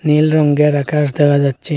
নীল রঙ্গের আকাশ দেখা যাচ্ছে।